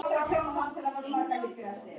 Aldrei hafði það verið eins gott.